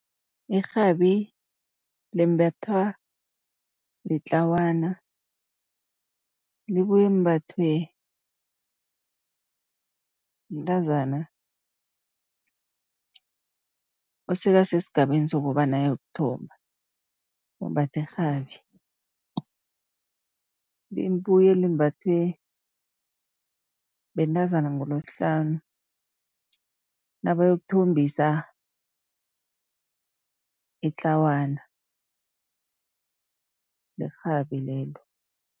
Irhabi limbathwa litlawana, libuye limbathwe mntazana osekasesigabeni sokobana ayokuthomba, umbatha irhabi. Libuye limbathwe bentazana ngeLesihlanu nabayokuthombisa itlawana, lirhabi lelo.